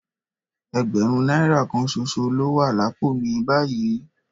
Ẹgbẹ̀rún náírà kan ṣoṣo ló wà lápò mi báyìí